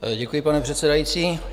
Děkuji, pane předsedající.